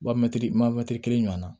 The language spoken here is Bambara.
Ba mɛtiri matiri kelen ɲɔana